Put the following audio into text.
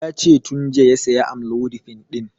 Yace tun jiya ya saya amlodipin ɗin